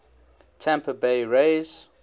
tampa bay rays